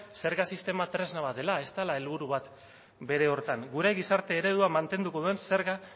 zerga sistema tresna bat dela ez dela helburu bat bere horretan gure gizarte eredua mantenduko duen zerga